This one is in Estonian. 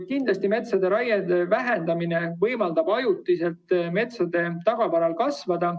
" Kindlasti võimaldab metsade raie vähendamine metsatagavaral ajutiselt kasvada.